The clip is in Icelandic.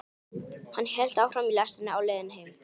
Hann hélt áfram í lestinni á leiðinni heim.